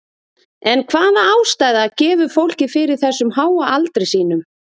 En hvaða ástæða gefur fólkið fyrir þessum háa aldri sínum?